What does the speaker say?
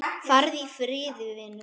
Farðu í friði, vinur.